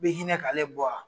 Bɛ hinɛ k'ale bɔ wa?